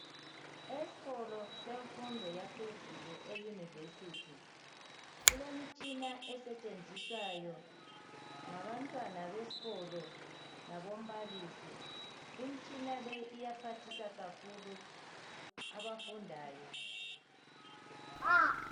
Esikolo semfundo yaphezulu eyunivesithi kulemitshina esentshenziswayo ngabantwana besikolo labombalisi imitshina le iyaphathisa kakhulu abafundayo